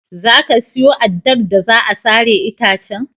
Za ka siyo addar da za a sare itacen?